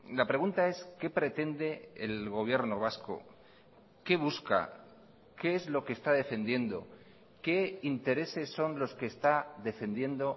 la pregunta es qué pretende el gobierno vasco qué busca qué es lo que está defendiendo qué intereses son los que está defendiendo